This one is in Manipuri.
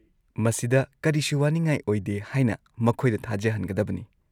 ꯃꯁꯤꯗ ꯀꯔꯤꯁꯨ ꯋꯥꯅꯤꯉꯥꯏ ꯑꯣꯏꯗꯦ ꯍꯥꯏꯅ ꯃꯈꯣꯏꯗ ꯊꯥꯖꯍꯟꯒꯗꯕꯅꯤ꯫